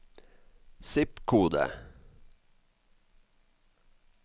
zip-kode